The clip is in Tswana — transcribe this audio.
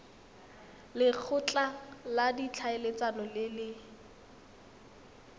lekgotla la ditlhaeletsano le le